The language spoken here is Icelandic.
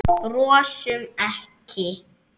Brosum ekki.